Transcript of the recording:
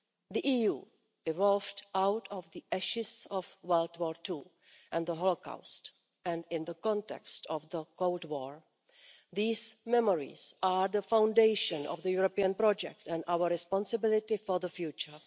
The EU evolved out of the ashes of the Second World War and the holocaust and, in the context of the Cold War, these memories are the foundation of the European project and our responsibility for the future.